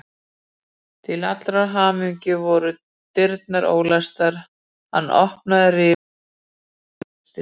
Til allrar hamingju voru dyrnar ólæstar, hann opnaði rifu og lagði við hlustir.